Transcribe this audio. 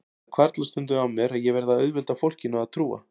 Það hvarflar stundum að mér að ég verði að auðvelda fólkinu að trúa